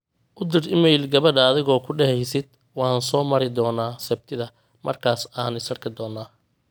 u dir iimayl gabadha adigoo ku deheysid waan soo mari doona sabtida markas aan is arki doona